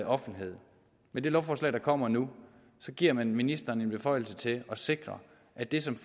offentlighed med det lovforslag der kommer nu giver man ministeren en beføjelse til at sikre at det som